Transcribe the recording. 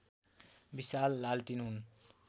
विशाल लालटिन हुन्